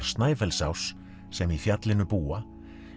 Snæfellsáss sem í fjallinu búa